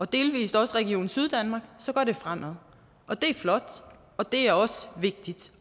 dels også region syddanmark går det fremad det er flot og det er også vigtigt